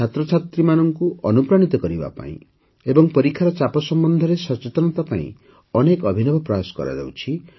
ଛାତ୍ରଛାତ୍ରୀମାନଙ୍କୁ ଅନୁପ୍ରାଣିତ କରିବା ପାଇଁ ଏବଂ ପରୀକ୍ଷାର ଚାପ ସମ୍ବନ୍ଧରେ ସଚେତନତା ପାଇଁ ଅନେକ ଅଭିନବ ପ୍ରୟାସ କରାଯାଇଛି